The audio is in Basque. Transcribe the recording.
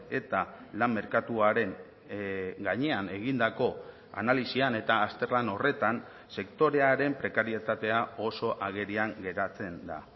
eta lan merkatuaren gainean egindako analisian eta azterlan horretan sektorearen prekarietatea oso agerian geratzen da